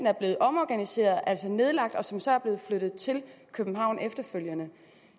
er blevet omorganiseret altså nedlagt og som så er blevet flyttet til københavn efterfølgende